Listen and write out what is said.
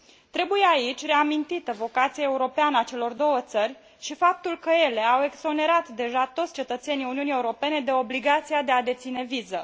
Trebuie aici reamintită vocația europeană a celor două țări și faptul că ele au exonerat deja toți cetățenii Uniunii Europene de obligația de a deține viză.